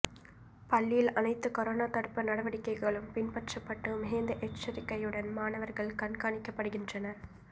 பள்ளியில் அனைத்து கொரோனா தடுப்பு நடவடிக்கைகளும் பின்பற்றப்பட்டு மிகுந்த எச்சரிக்கையுடன் மாணவர்கள் கண்காணிக்கப்படுகின்றனர்